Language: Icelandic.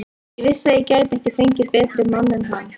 Ég vissi að ég gæti ekki fengið betri mann en hann.